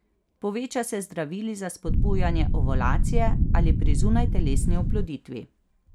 Poveča se z zdravili za spodbujanje ovulacije ali pri zunajtelesni oploditvi.